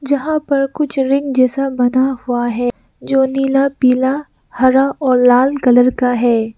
यहां पर कुछ रिंग जैसा बना हुआ है जो नीला पीला हरा और लाल कलर का है।